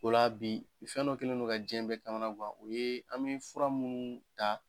O la bi fɛn dɔ kelen do ka diɲɛ bɛɛ kamana guwan, o ye an be fura munnu ta